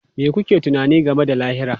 Me kuke tunani game da lahira?